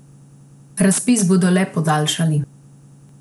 Razpis bodo le podaljšali.